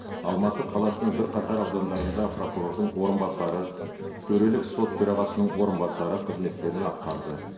алматы қаласының бірқатар аудандарында прокурордың орынбасары төрелік сот төрағасының орынбасары қызметтерін атқарды